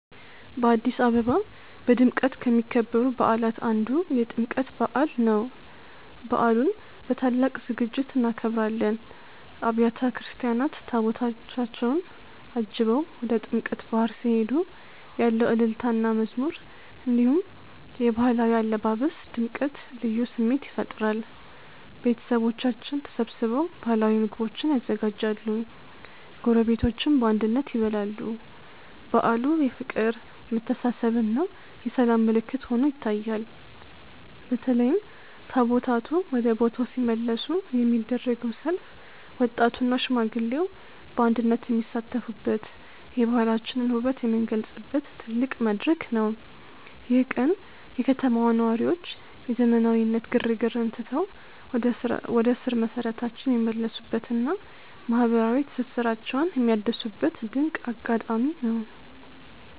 በአዲስ አበባ በድምቀት ከሚከበሩ በዓላት አንዱ የጥምቀት በዓል ነው። በዓሉን በታላቅ ዝግጅት እናከብራለን። አብያተ ክርስቲያናት ታቦታታቸውን አጅበው ወደ ጥምቀተ ባሕር ሲሄዱ ያለው እልልታና መዝሙር፣ እንዲሁም የባህላዊ አለባበስ ድምቀት ልዩ ስሜት ይፈጥራል። ቤተሰቦቻችን ተሰብስበው ባህላዊ ምግቦችን ያዘጋጃሉ፤ ጎረቤቶችም በአንድነት ይበላሉ። በዓሉ የፍቅር፣ የመተሳሰብና የሰላም ምልክት ሆኖ ይታያል። በተለይም ታቦታቱ ወደ ቦታው ሲመለሱ የሚደረገው ሰልፍ ወጣቱና ሽማግሌው በአንድነት የሚሳተፉበት፣ የባህላችንን ውበት የምንገልጽበት ትልቅ መድረክ ነው። ይህ ቀን የከተማዋ ነዋሪዎች የዘመናዊነት ግርግርን ትተው ወደ ስር መሰረታቸው የሚመለሱበትና ማህበራዊ ትስስራቸውን የሚያድሱበት ድንቅ አጋጣሚ ነው።